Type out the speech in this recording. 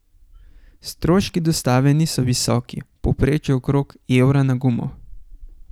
Stroški dostave niso visoki, v povprečju okrog evra na gumo.